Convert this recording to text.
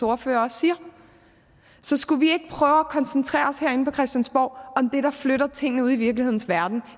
ordfører også siger så skulle vi at koncentrere os herinde på christiansborg om det der flytter ting ude i virkelighedens verden